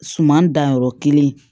Suman dan yɔrɔ kelen